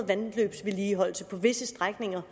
vandløbsvedligeholdelse på visse strækninger